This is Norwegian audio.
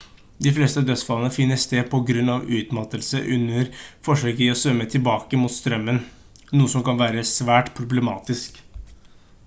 de fleste dødsfallene finner sted på grunn av utmattelse under forsøk i å svømme tilbake mot strømmen noe som kan være svært problematisk